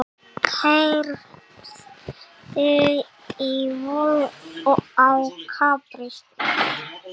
Keyrði ölvuð á Klapparstíg